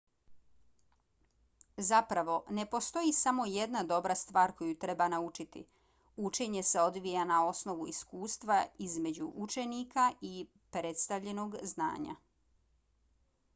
zapravo ne postoji samo jedna dobra stvar koju treba naučiti. učenje se odvija na osnovu iskustva između učenika i predstavljenog znanja